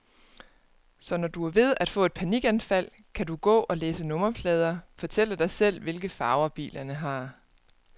Så når du er ved at få et panikanfald, kan du gå og læse nummerplader, fortælle dig selv, hvilke farver bilerne har.